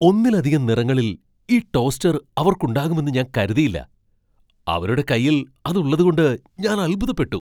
ഒന്നിലധികം നിറങ്ങളിൽ ഈ ടോസ്റ്റർ അവർക്കുണ്ടാകുമെന്ന് ഞാൻ കരുതിയില്ല, അവരുടെ കൈയിൽ അത് ഉള്ളതുകൊണ്ട് ഞാൻ അത്ഭുതപ്പെട്ടു.